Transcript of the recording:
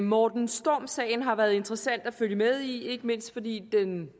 morten storm sagen har været interessant at følge med i ikke mindst fordi den